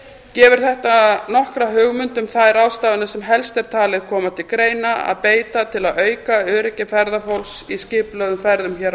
gefur þetta nokkra hugmynd um þær ráðstafanir sem helst er talið koma til greina að beita til að auka öryggi ferðafólks í skipulögðum ferðum hér á